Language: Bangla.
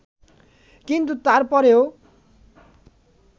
কিন্তু তার পরেও